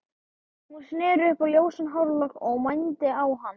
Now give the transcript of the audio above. Hún sneri upp á ljósan hárlokk og mændi á hann.